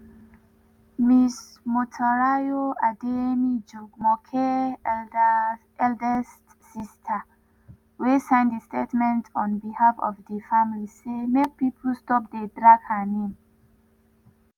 ms motunrayo adeyemi jumoke eldest sister wey sign di statement on behalf of di family say make pipo stop dey drag her name.